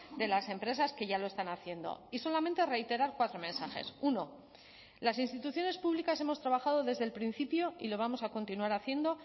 de las empresas que ya lo están haciendo y solamente reiterar cuatro mensajes uno las instituciones públicas hemos trabajado desde el principio y lo vamos a continuar haciendo